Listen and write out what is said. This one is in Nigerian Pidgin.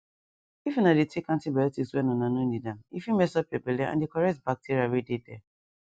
if una dey take antibiotics when una no need ame fit mess up your belle and the correct bacteria wey dey there